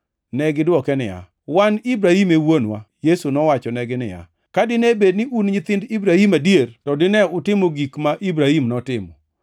Negidwoke niya, “Wan Ibrahim e Wuonwa.” Yesu nowachonegi niya, “Ka dine bed ni un nyithind Ibrahim adier, to dine utimo gik ma Ibrahim notimo;